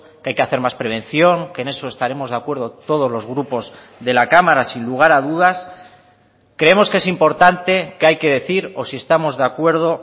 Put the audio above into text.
que hay que hacer más prevención que en eso estaremos de acuerdo todos los grupos de la cámara sin lugar a dudas creemos que es importante que hay que decir o si estamos de acuerdo